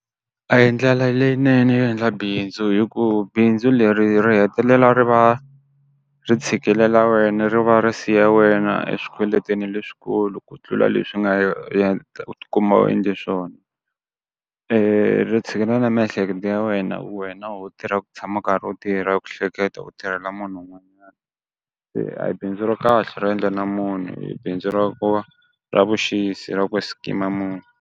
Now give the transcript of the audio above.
A hi ndlela leyinene yo endla bindzu hi ku bindzu leri ri hetelela ri va ri tshikilela wena ri va ri siya wena eswikweleteni leswikulu ku tlula leswi nga ye u ti kuma u endle swona, ri tshikelela na miehleketo ya wena wena ho tirha ku tshama u karhi u tirha ku hleketa u tirhela munhu . Se a hi bindzu ra kahle ro endla na munhu i bindzu ra ku va ra vuxisi ra ku scheme-a ma munhu.